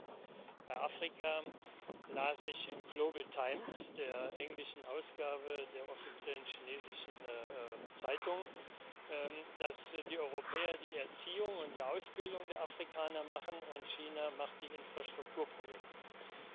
Und bei Afrika las ich in der Global Times der englischen Ausgabe der offiziellen chinesischen Zeitung, dass die Europäer die Erziehung und die Ausbildung der Afrikaner machen und China die Infrastrukturprojekte macht.